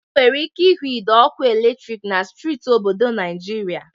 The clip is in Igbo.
E nwere ike ihu ide ọkụ eletrik na streeti n'obodo Naịjịrịa.